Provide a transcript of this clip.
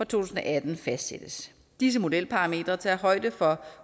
tusind og atten fastsættes disse modelparametre tager højde for